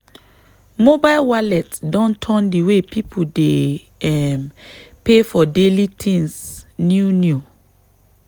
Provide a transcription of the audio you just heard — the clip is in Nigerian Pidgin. mobile wallet don turn the way people dey um pay for daily things new new.